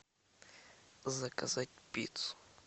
заказать пиццу